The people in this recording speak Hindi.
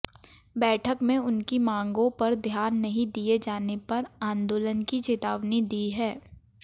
बैठक में उनकी मांगों पर ध्यान नहीं दिए जाने पर आंदोलन की चेतावनी दी है